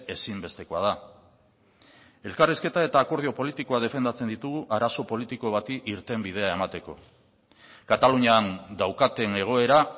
ezinbestekoa da elkarrizketa eta akordio politikoa defendatzen ditugu arazo politiko bati irtenbidea emateko katalunian daukaten egoera